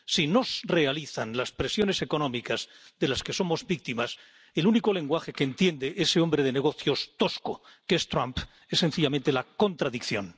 Si nos realizan las presiones económicas de las que somos víctimas, el único lenguaje que entiende ese hombre de negocios tosco que es Trump es, sencillamente, la contradicción.